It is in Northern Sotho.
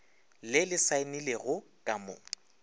le le saenilego ka mo